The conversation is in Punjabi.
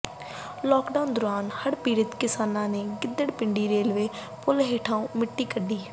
ਲਾਕਡਾਊਨ ਦੌਰਾਨ ਹੜ੍ਹ ਪੀੜਤ ਕਿਸਾਨਾਂ ਨੇ ਗਿਦੱੜ ਪਿੰਡੀ ਰੇਲਵੇ ਪੁਲ ਹੇਠੋਂ ਮਿੱਟੀ ਕੱਢੀ